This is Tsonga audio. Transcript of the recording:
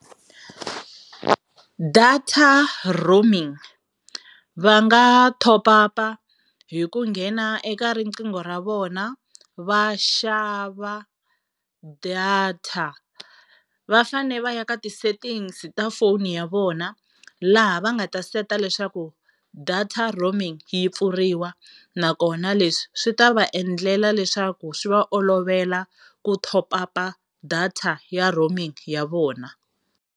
Data roaming, va nga top-up hi ku nghena eka riqingho ra vona va xava data. Va fane va ya ka ti-settings ta phone ya vona laha va nga ta seta leswaku data roaming yi pfuriwa, nakona leswi swi ta va endlela leswaku swi va olovela ku top-up data ya roaming ya vona.